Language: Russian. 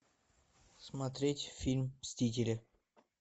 смотреть фильм мстители